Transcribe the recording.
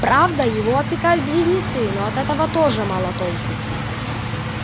правда его опекают близнецы но от этого тоже мало толку